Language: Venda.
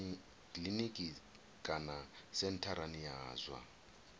kiliniki kana sentharani ya zwa